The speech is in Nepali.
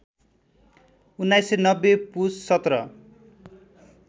१९९० पौष १७